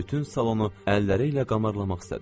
Bütün salonu əlləri ilə qamarlamaq istədi.